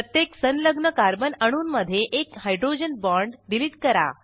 प्रत्येक संलग्न कार्बन अणूंमधून एक हायड्रोजन बाँड डिलीट करा